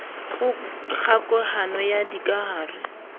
kgoka hano ya dikahare le